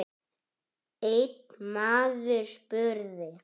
Einn maður spurði